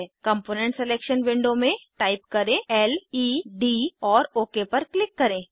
component selection window में type करें LED और ओक पर क्लिक करें